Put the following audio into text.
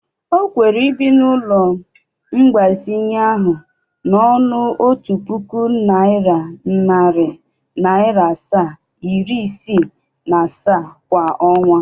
O kwere ibi n'ụlọ mgbazinye ahụ n'ọnụ otu puku naira, nari naria asaa, iri isii na asaa kwa onwa?